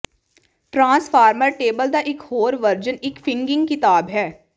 transformer table ਦਾ ਇੱਕ ਹੋਰ ਵਰਜਨ ਇੱਕ ਫਿੰਗਿੰਗ ਕਿਤਾਬ ਹੈ